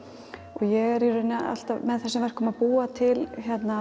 og ég er í rauninni alltaf með þessum verkum að búa til